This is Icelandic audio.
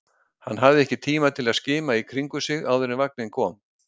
Hann hafði ekki tíma til að skima í kringum sig áður en vagninn kom.